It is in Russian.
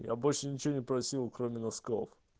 я больше ничего не просил кроме носков